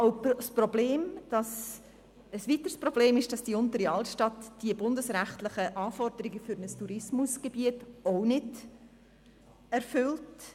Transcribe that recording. Ein weiteres Problem ist, dass die Untere Altstadt die bundesrechtlichen Anforderungen an ein Tourismusgebiet nicht erfüllt.